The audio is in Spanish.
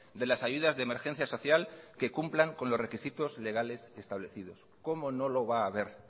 de las ayudas de emergencia social que cumplan con los requisitos legales establecidos cómo no lo va a haber